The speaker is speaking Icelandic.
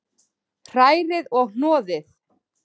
Hrærið og hnoðið.